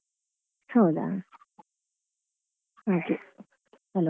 ಹೌದಾ? okay hello .